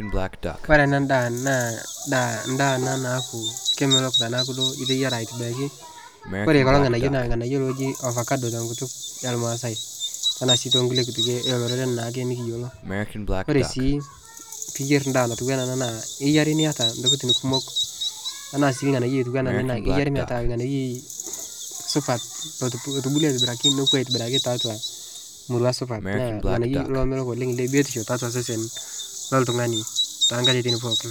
Ore ena daa naa naa endaa ena naaku kemelok tenaaku duo iteyiara aitibiraki, ore ele orng'anayio naa orng'anayio looji ovacado te nkutuk olmaasai tenaa sii too nkulie kutukie oo lororen naake nekiyiolo. Ore sii piiyer endaa natiu enaa ena naa iyiu ake niyata intokitin kumok enaa sii irng'anayio otiu enaa iyer metaa orng'anayioi supat lotubulua aitobiraki nooku aitibiraki tiatua murua supat naa ng'anayioi lomelok oleng' le biotisho tiatua sesen loltung'ani too nkatitin pookin.